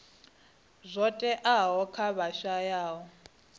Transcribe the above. zwo teaho kha vha shayaho